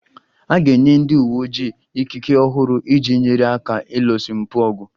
A ga-enye ndị uwe ojii ikike ọhụrụ iji nyere aka ịlụso mpụ ọgụ